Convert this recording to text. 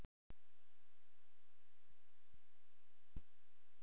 Geta tölvur orðið óendanlegar öflugar og vélmenni öðlast meðvitund?